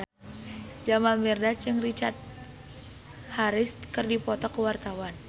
Jamal Mirdad jeung Richard Harris keur dipoto ku wartawan